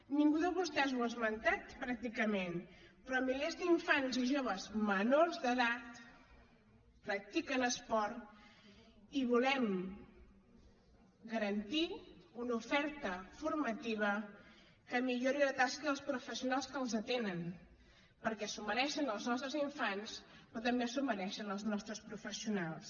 ningú de vostès ho ha esmentat pràcticament però milers d’infants i joves menors d’edat practiquen esport i volem garantir una oferta formativa que millori la tasca dels professionals que els atenen perquè s’ho mereixen els nostres infants però també s’ho mereixen els nostres professionals